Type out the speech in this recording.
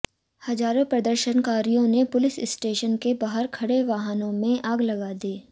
हजारों प्रदर्शनकारियों ने पुलिस स्टेशन के बाहर खड़े वाहनों में आग लगा दी